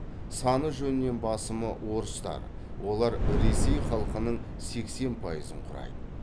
саны жөнінен басымы орыстар олар ресей халқының сексен пайызын құрайды